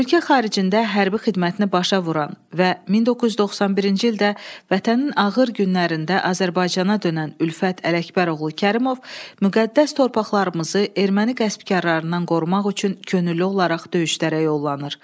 Ölkə xaricində hərbi xidmətini başa vuran və 1991-ci ildə Vətənin ağır günlərində Azərbaycana dönən Ülfət Ələkbəroğlu Kərimov müqəddəs torpaqlarımızı erməni qəsbkarlarından qorumaq üçün könüllü olaraq döyüşlərə yollanır.